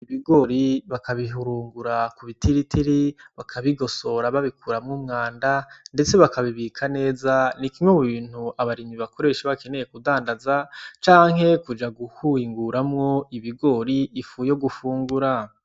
Ibigori bakabihurumbura ku bitiritiri bakabigosora babikuramwo umwanda ndetse bakabibika neza ni kimwe mu bintu abarimyi bakoresha iyo bakeneye kudandaza canke kuja guhinguramwo ibigori ifu yo gufungura.